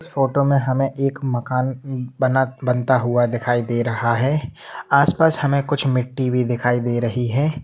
इस फोटो में हमें एक मकान ह-ह- बना बनता हुआ दिखाई दे रहा है आसपास हमें कुछ मिट्टी भी दिखाई दे रही है।